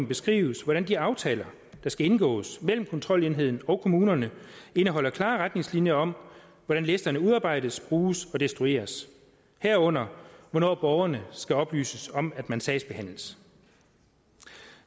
beskrives hvordan de aftaler der skal indgås mellem kontrolenheden og kommunerne indeholder klare retningslinjer om hvordan listerne udarbejdes bruges og destrueres herunder hvornår borgerne skal oplyses om at man sagsbehandles